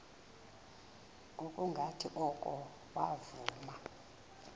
ngokungathi oko wavuma